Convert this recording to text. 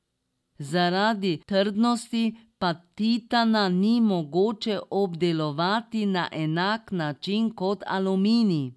Zaradi trdnosti pa titana ni mogoče obdelovati na enak način kot aluminij.